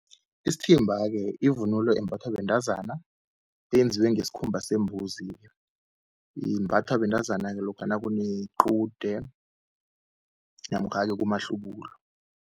Isithimba-ke ivunulo embathwa bentazana, eyenziwe ngesikhumba sembuzi-ke. Imbathwa bentazana-ke lokha nakunequde namkha-ke kumahlubulo.